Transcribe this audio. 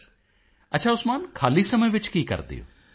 ਮੋਦੀ ਜੀ ਅੱਛਾ ਉਸਮਾਨ ਖਾਲੀ ਸਮੇਂ ਵਿੱਚ ਕੀ ਕਰਦੇ ਹੋ